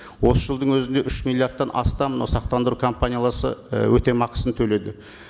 осы жылдың өзінде үш миллиардтан астам мынау сақтандыру і өтемақысын төледі